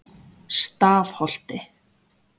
Stafholti